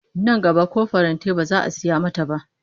Nan gaba ko farantai ba za a saya mata ba